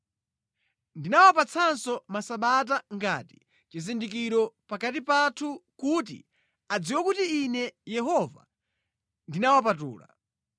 Ndinawapatsanso Masabata ngati chizindikiro pakati pathu, kuti adziwe kuti Ine Yehova ndinawapatula.